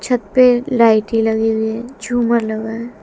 छत पे लाइटे लगी हुई है झूमर लगा है।